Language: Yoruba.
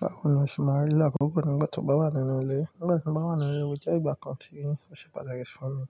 Báwo ni o ṣe n máa rí lílo àkọ́kọ́ nígbà tí o bá wà nínú ilé? Nígbà tí mo bá wà nínú ilé, ó jẹ́ ìgbà kan tí n ó ṣe pàtàkì fún mi.